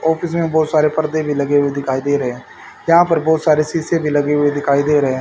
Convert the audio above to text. Office में बहोत सारे पर्दे भी लगे हुए दिखाई दे रहे हैं। यहां पर बहोत सारे शीशे भी लगे हुए दिखाई दे रहे हैं।